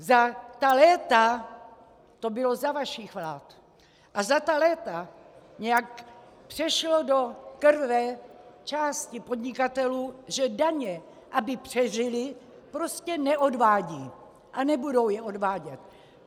Za ta léta, to bylo za vašich vlád, a za ta léta nějak přešlo do krve části podnikatelů, že daně, aby přežili, prostě neodvádějí a nebudou je odvádět.